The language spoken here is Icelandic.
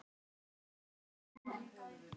Svona eru genin.